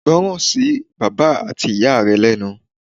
Gbọ́ràn sí bàbá at ìyá rẹ lẹ́nu